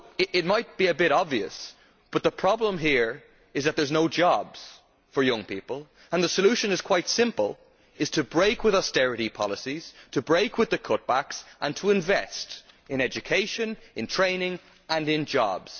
It might be a bit obvious, but the problem here is that there are no jobs for young people and the solution is quite simple to break with austerity policies, to break with the cutbacks and to invest in education, in training and in jobs.